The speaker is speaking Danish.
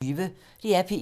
DR P1